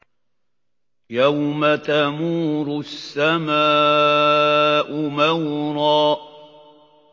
يَوْمَ تَمُورُ السَّمَاءُ مَوْرًا